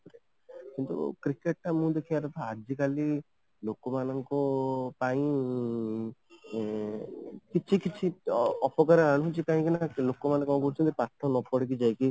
କିନ୍ତୁ cricket ଟା ମୁଁ ଦେଖିବାରେ ଆଜିକାଲି ଲୋକମାନଙ୍କ ପାଇଁ ଇଁ କିଛି କିଛି ଅପକାର ଆଣୁଛି କାହିଁକି ନା ଲୋକମାନେ କ'ଣ କରୁଛନ୍ତି ପାଠ ନ ପଢିକି ଯାଇକି